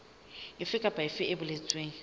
efe kapa efe e boletsweng